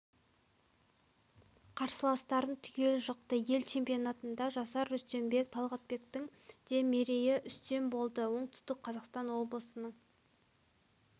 қарсыластарын түгел жықты ел чемпионатында жасар рүстембек талғатбектің де мерейі үстем болды оңтүстік қазақстан облысының